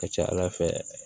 Ka ca ala fɛ